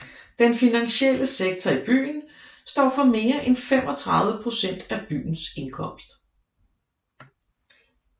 Den finansielle sektor i byen står for mere end 35 procent af byens indkomst